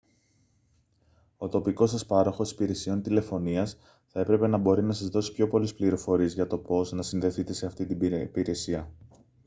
ο τοπικός σας πάροχος υπηρεσιών τηλεφωνίας θα έπρεπε να μπορεί να σας δώσει πιο πολλές πληροφορίες για το πώς να συνδεθείτε σε αυτή την υπηρεσία